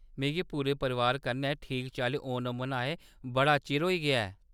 मिगी पूरे परोआर कन्नै ठीक चाल्ली ओणम मनाए बड़ा चिर होई गेआ ऐ।